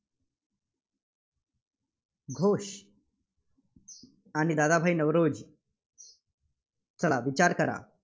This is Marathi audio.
घोष. आणि दादाभाई नौरोजी. चला विचार करा.